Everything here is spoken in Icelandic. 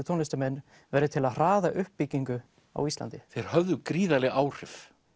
tónlistarmenn verði til að hraða uppbyggingu á Íslandi þeir höfðu gríðarleg áhrif